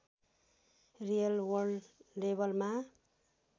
real world लेबलमा